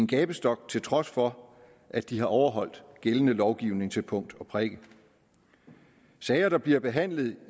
gabestok til trods for at de har overholdt gældende lovgivning til punkt og prikke i sager der bliver behandlet